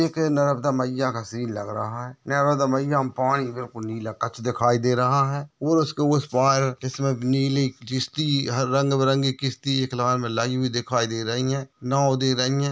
एक नर्मदा मईया का सीन लग रहा है नर्मदा मईया में पानी बिलकुल नीला कच दिखाई दे रहा है और उसके उस पार जिसमे नील किस्ती रंग बिरंगी किस्ती एक लाइन में लगी हुई दिखाई दे रही है नांव दे रही है।